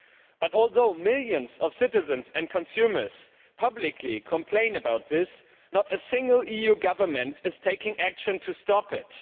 But although millions of citizens and consumers publicly complain about this, not a single EU government is taking action to stop it.